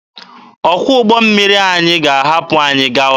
Ọkwọ ụgbọ mmiri anyị ga-ahapụ anyị gawa.